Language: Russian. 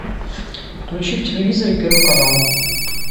включи в телевизоре первый канал